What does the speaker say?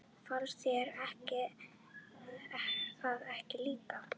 Fannst þér það ekki líka?